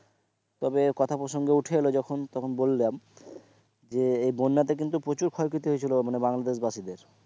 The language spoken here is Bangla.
তবে কথা প্রসঙ্গে উঠে এল যখন তখন বললাম যে এই বন্যা তে কিন্তু প্রচুর ক্ষয় ক্ষতি হয়ে ছিলো মানে বাংলাদেশ বাসীর,